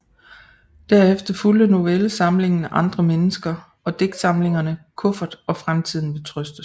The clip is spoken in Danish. Derefter fulgte novellesamlingen Andre mennesker og digtsamlingerne Kuffert og Fremtiden vil trøstes